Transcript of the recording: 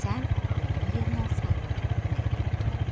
Sən onun yerinə olsaydın, nə edərdin?